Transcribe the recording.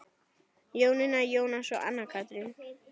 Jónína, Jónas og Anna Katrín.